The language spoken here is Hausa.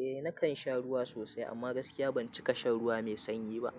Eh nakan sha ruwa sosai amma gaskiya ban cika shan ruwa mai sanyi ba.